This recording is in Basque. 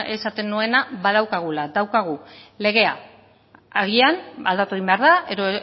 esaten nuena badaukagula daukagu legea agian aldatu egin behar da edo